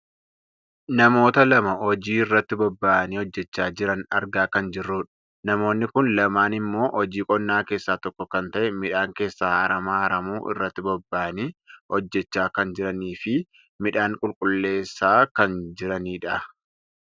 Namoota lama hojii irratti bobbahanii hojjachaa jiran argaa kan jirrudha. Namoonni kun lamaan ammoo hojii qonnaa keessaa tokko kan ta'e midhaan keessaa aramaa aramuu irratti bobba'anii hojjachaa kan jiraniifi midhaan qulqulleessaa kan jiranidha.